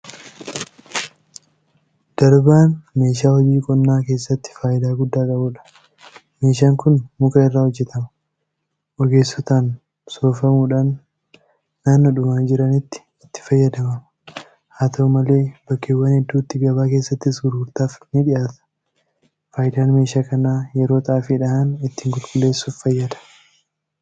Darbaan meeshaa hojii qonnaa keessatti faayidaa guddaa qabudha. Meeshaan kun muka irraa hojjetama. Ogeessotaan soofamuudhaan naannoodhuma jiranitti itti fayyadamama. Haata'u malee bakkeewwan hedduutti gabaa keessattis gurgurtaadhaaf nidhiyaata. Faayidaan meeshaa kanaa yeroo Xaafii dhahan ittiin qulqulleessuudhaaf fayyada.